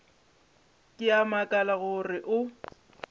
ke a makala gore o